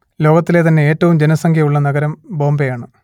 ലോകത്തിലെ തന്നെ ഏറ്റവും ജനസംഖ്യ ഉള്ള നഗരം ബോംബെ ആണ്